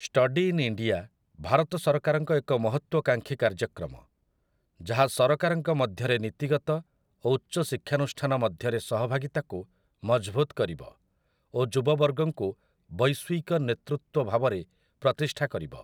Study in India' Bharat ସରକାରଙ୍କ ଏକ ମହତ୍ୱକାଂକ୍ଷୀ କାର୍ଯ୍ୟକ୍ରମ, ଯାହା ସରକାରଙ୍କ ମଧ୍ୟରେ ନୀତିଗତ ଓ ଉଚ୍ଚଶିକ୍ଷାନୁଷ୍ଠାନ ମଧ୍ୟରେ ସହଭାଗିତାକୁ ମଜଭୁତ୍ କରିବ ଓ ଯୁବବର୍ଗଙ୍କୁ ବୈଶ୍ୱିକ ନେତୃତ୍ୱ ଭାବରେ ପ୍ରତିଷ୍ଠା କରିବ ।